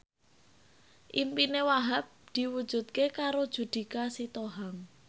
impine Wahhab diwujudke karo Judika Sitohang